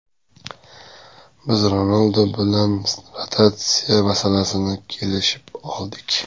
Biz Ronaldu bilan rotatsiya masalasida kelishib oldik.